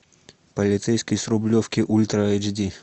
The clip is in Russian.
полицейский с рублевки ультра эйч ди